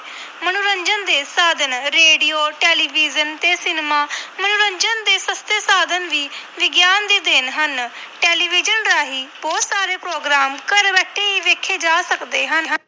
ਮਨੋਰੰਜਨ ਦੇ ਸਾਧਨ-ਰੇਡੀਓ ਟੈਲੀਵਜ਼ਨ ਤੇ ਸਿਨੇਮਾ ਮਨੋਰੰਜਨ ਦੇ ਸਸਤੇ ਸਾਧਨ ਵੀ ਵਿਗਿਆਨ ਦੀ ਦੇਣ ਹਨ। ਟੈਲੀਵਿਜ਼ਨ ਰਾਹੀਂ ਬਹੁਤ ਸਾਰੇ program ਘਰ ਬੈਠੇ ਹੀ ਵੇਖੇ ਜਾ ਸਕਦੇ ਹਨ।